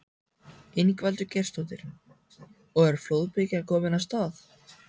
Ingveldur Geirsdóttir: Og er flóðbylgjan komin af stað?